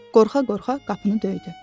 Qorxa-qorxa qapını döydü.